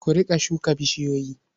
Ku riƙa shuka bishiyoyi.